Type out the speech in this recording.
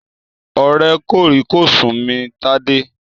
Ọ̀rẹ́ kòrí-kòsùn mi Tádé.